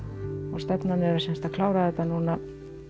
og stefnan er að klára þetta núna